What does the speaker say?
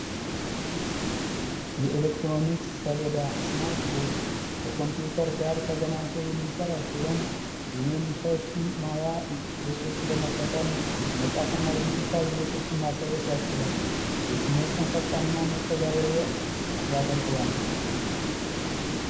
የኤሌክትሮኒክ ሰሌዳ ስማርት ቦርድ ከኮምፒውተር ጋር ተገናኝቶ የሚሰራ ሲሆን የንክኪ ማያ ገፆችን በመጠቀም መፃፍ እና የዲጅታል ይዘቶችን ማሳየት ያስችላል። ትምህርትን ፈጣን እና መስተጋብራዊ ያደርገዋል።